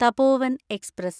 Tapovan express